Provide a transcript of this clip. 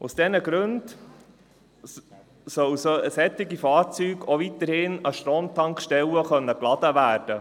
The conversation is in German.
Aus diesen Gründen sollen solche Fahrzeuge auch weiterhin an Stromtankstellen aufgeladen werden können.